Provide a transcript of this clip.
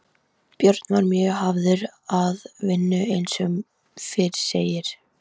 Björn var mjög hafður að vinnu eins og fyrr segir.